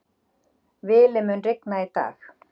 Vili, mun rigna í dag?